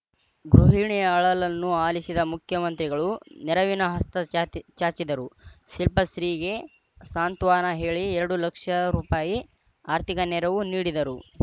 ಗೃಹಿಣಿಯ ಅಳಲನ್ನು ಆಲಿಸಿದ ಮುಖ್ಯಮಂತ್ರಿಗಳು ನೆರವಿನ ಹಸ್ತ ಚಾತಿ ಚಾಚಿದರು ಶಿಲ್ಪಶ್ರೀಗೆ ಸಾಂತ್ವನ ಹೇಳಿ ಎರಡು ಲಕ್ಷ ರೂ ಪಾಯಿ ಆರ್ಥಿಕ ನೆರವು ನೀಡಿದರು